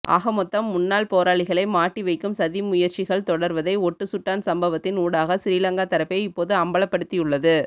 ஆகமொத்தம் முன்னாள் போராளிகளை மாட்டிவைக்கும் சதிமுயற்சிகள் தொடர்வதை ஒட்டுசுட்டான் சம்பவத்தின் ஊடாக சிறிலங்கா தரப்பே இப்போது அம்பலப்படுத்தியுள்ளது